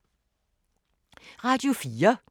Radio 4